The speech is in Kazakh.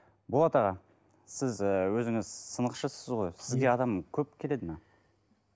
болат аға сіз ы өзіңіз сынықшысыз ғой сізге адам көп келеді ме